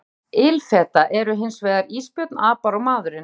Dæmi um ilfeta eru hins vegar ísbjörn, apar og maðurinn.